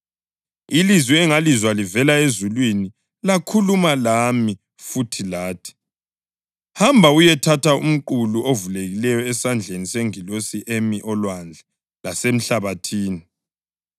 Ilizwi engangilizwe livela ezulwini lakhuluma lami futhi lathi: “Hamba uyethatha umqulu ovulekileyo esandleni sengilosi emi olwandle lasemhlabathini.”